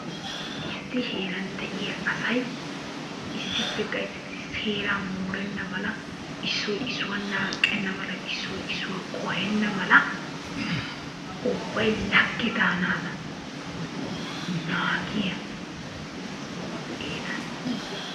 Issi heeraan de'iyaa asay issippe gayttidi seeraa morenna mala, issoy issuwa naaqqenna mala issoy qohenna mala ubbay lagge daanaadan naagiyaa geeta.